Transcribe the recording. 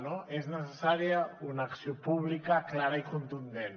no és necessària una acció pública clara i contundent